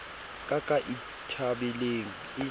ka ka e thabelang e